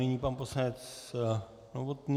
Nyní pan poslanec Novotný.